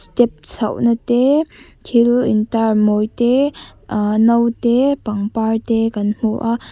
step chhohna te thil intar mawi te aah no te pangpar te kan hmu a.